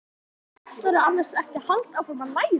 Ætlarðu annars ekki að halda áfram að læra?